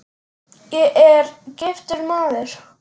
Ég er: giftur maður.